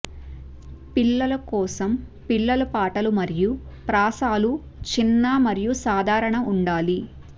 పిల్లలు కోసం పిల్లల పాటలు మరియు ప్రాసలు చిన్న మరియు సాధారణ ఉండాలి